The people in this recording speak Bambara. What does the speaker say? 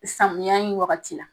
Samiya in wagati la